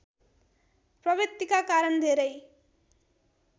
प्रवृतिका कारण धेरै